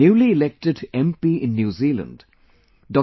Newly elected MP in New Zealand Dr